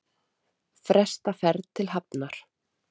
Fresta ferð til Hafnar